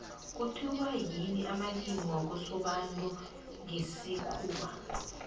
kuthiwa yimi amalimi wakosobantu ngesikhuwa